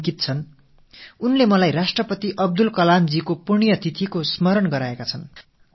அங்கித் என்ற ஒரு இளைஞர் முன்னாள் குடியரசுத் தலைவர் அப்துல் கலாம் அவர்களின் நினைவு தினத்தை எனக்கு நினைவுபடுத்தி இருக்கிறார்